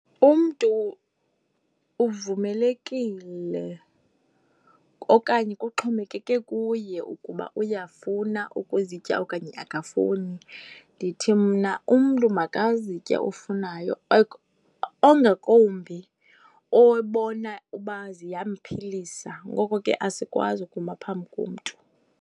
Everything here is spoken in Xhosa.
Umntu uvumelekile okanye kuxhomekeke kuye ukuba uyafuna ukuzitya okanye akafuni. Ndithi mna umntu makazitye ofunayo, ongakumbi obona uba ziyamphilisa. Ngoko ke asikwazi ukuma phambi komntu.